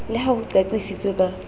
le ha ho qaqisitswe ka